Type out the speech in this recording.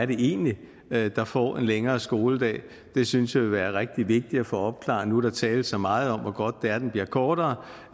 det egentlig er der får en længere skoledag det synes jeg vil være rigtig vigtigt at få opklaret nu hvor der tales så meget om hvor godt det er at den bliver kortere